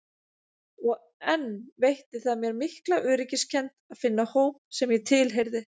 Og enn veitti það mér mikla öryggiskennd að finna hóp sem ég tilheyrði.